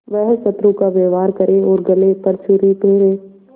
वह शत्रु का व्यवहार करे और गले पर छुरी फेरे